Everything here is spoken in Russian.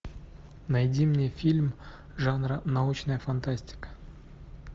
найди мне фильм жанра научная фантастика